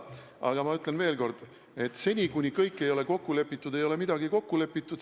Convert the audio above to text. Aga ma ütlen veel kord: seni, kuni kõik ei ole kokku lepitud, ei ole midagi kokku lepitud.